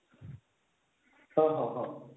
ହଁ ହଁ ହଁ